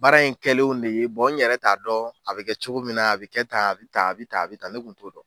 Baara in kɛlen de ye , bɔn n yɛrɛ t'a dɔn a bɛ kɛ cogo min na , a bɛ kɛ ,bɛ tan a bɛ tan n tun t'a dɔn.